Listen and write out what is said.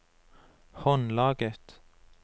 håndlaget